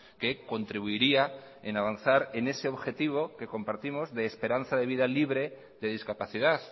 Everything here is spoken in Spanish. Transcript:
que contribuiría en avanzar en ese objetivo que compartimos de esperanza de vida libre de discapacidad